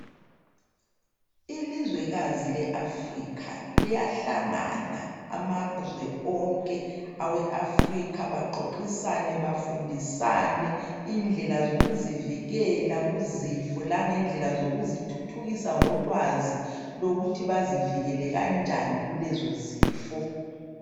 ilizwekazi le Africa liyahlangana amazwe onke awe Africa baxoxisane bafundisane indlela zokuzivikela ku zifo langendlela zokuzithuthukisa ngolwazi lokuthi bazivikele kanjani kulezo zifo